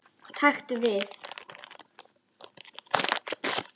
Taktu við.